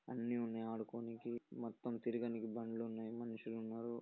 అన్ని ఉన్నాయి ఆడుకోనికి మొత్తం తిరగానికి బండ్లు ఉన్నాయి. మనుషులు ఉన్నారు.